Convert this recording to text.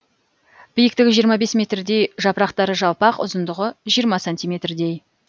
биіктігі жиырма бес метрдей жапырақтары жалпақ ұзындығы жиырма сантиметрдей